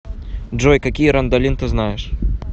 джой какие рандалин ты знаешь